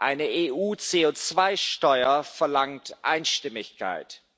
Eine EU CO2 Steuer verlangt Einstimmigkeit.